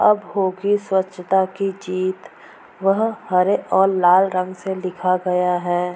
अब होगी स्वच्छता की जीत वह हरे और लाल रंग से लिखा गया है।